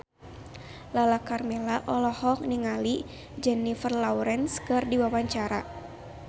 Lala Karmela olohok ningali Jennifer Lawrence keur diwawancara